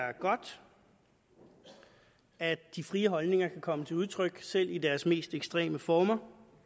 er godt at de frie holdninger kan komme til udtryk selv i deres mest ekstreme former